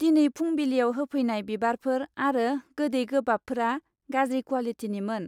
दिनै फुंबिलियाव होफैनाय बिबारफोर आरो गोदै गोबाबफोरा गाज्रि क्वालिटिनिमोन।